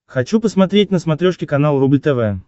хочу посмотреть на смотрешке канал рубль тв